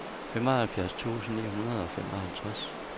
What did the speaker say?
femoghalvfjerds tusind ni hundrede og femoghalvtreds